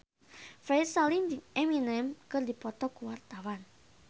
Ferry Salim jeung Eminem keur dipoto ku wartawan